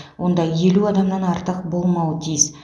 онда елу адамнан артық болмауы тиіс